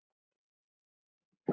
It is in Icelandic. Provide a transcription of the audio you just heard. Af hverju ertu að þessu?